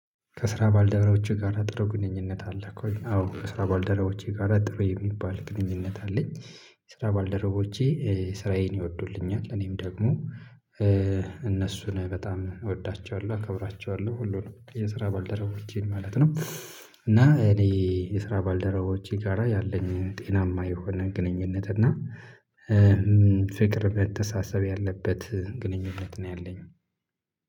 ከስራ ባልደረቦችህ ጋራ ጥሩ ግንኙነት አለክ ወይ? አዎ ከስራ ባልደረቦቼ ጋራ ጥሩ የሚባል ግንኙነት አለኝ። የስራ ባልደረቦቼ ስራዬን ይወዱልኛል። እኔም ደግሞ እነሱን በጣም እወዳቸዋለሁ አከብራቸዋለሁ፤ ሁሉንም የስራ ባልደረቦቼን ማለት ነው። እና እኔ የስራ ባልደረቦቼ ጋራ ያለኝ ጤናማ የሆነ ግንኙነት እና ፍቅር መተሳሰብ ያለበት ግንኙነት ነው ያለኝ።